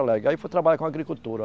Aí fui trabalhar com agricultura.